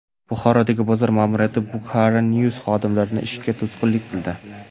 Buxorodagi bozor ma’muriyati Bukhara News xodimlari ishiga to‘sqinlik qildi .